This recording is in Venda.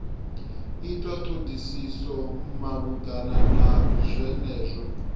itwa thodisiso malugana na zwenezwo